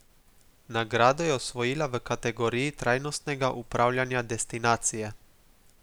Nagrado je osvojila v kategoriji trajnostnega upravljanja destinacije.